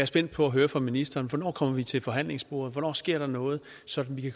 spændt på at høre fra ministeren hvornår kommer vi til forhandlingsbordet hvornår sker der noget sådan at vi